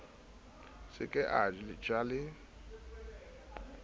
se ke a ja le